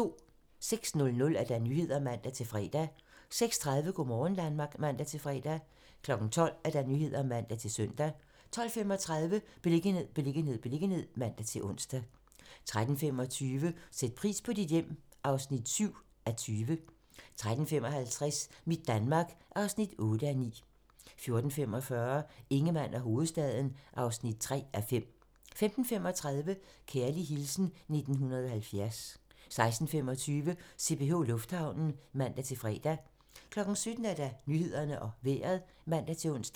06:00: Nyhederne (man-fre) 06:30: Go' morgen Danmark (man-fre) 12:00: Nyhederne (man-søn) 12:35: Beliggenhed, beliggenhed, beliggenhed (man-ons) 13:25: Sæt pris på dit hjem (7:20) 13:55: Mit Danmark (8:9) 14:45: Ingemann og hovedstaden (3:5) 15:35: Kærlig hilsen 1970 16:25: CPH Lufthavnen (man-fre) 17:00: Nyhederne og Vejret (man-ons)